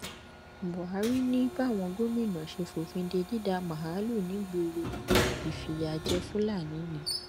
buhari ni báwọn gómìnà ṣe fòfin de dídà màálùú nígboro ìfìyà jẹ fúlàní ni